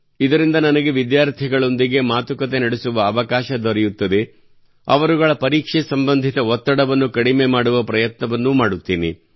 ಇದರಿಂದ ನನಗೆ ವಿದ್ಯಾರ್ಥಿಗಳೊಂದಿಗೆ ಮಾತುಕತೆ ನಡೆಸುವ ಅವಕಾಶ ದೊರೆಯುತ್ತದೆ ಮತ್ತು ಅವರುಗಳ ಪರೀಕ್ಷೆ ಸಂಬಂಧಿತ ಒತ್ತಡವನ್ನು ಕಡಿಮೆ ಮಾಡುವ ಪ್ರಯತ್ನವನ್ನೂ ಮಾಡುತ್ತೇನೆ